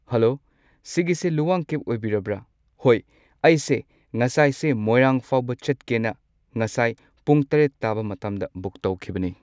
Hello ꯁꯤꯒꯤꯁꯦ ꯂꯨꯋꯥꯡ cab ꯑꯣꯏꯕꯤꯔꯕ꯭ꯔꯥ ꯍꯣꯏ ꯑꯩꯁꯦ ꯉꯁꯥꯏꯁꯦ ꯃꯣꯏꯔꯥꯡꯐꯥꯎꯕ ꯆꯠꯀꯦꯅ ꯉꯁꯥꯏ ꯄꯨꯡ ꯇꯔꯦꯠ ꯇꯥꯕ ꯃꯇꯝꯗ ꯕꯨꯛ ꯇꯧꯈꯤꯕꯅꯤ꯫